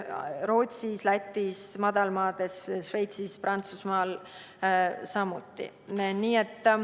Rootsis, Lätis, Madalmaades, Šveitsis ja Prantsusmaal on samuti.